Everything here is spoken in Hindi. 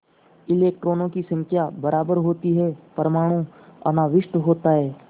इलेक्ट्रॉनों की संख्या बराबर होती है परमाणु अनाविष्ट होता है